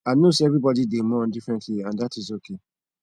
i know say everybody dey mourn differently and dat is okay